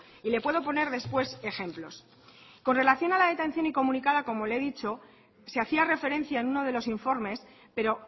y le puedo poner después ejemplos con relación a la detención incomunicada como le he dicho se hacía referencia en uno de los informes pero